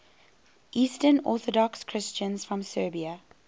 eastern orthodox christians from serbia